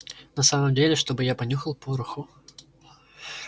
на самом деле чтобы я понюхал пороху